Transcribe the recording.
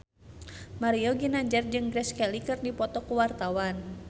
Mario Ginanjar jeung Grace Kelly keur dipoto ku wartawan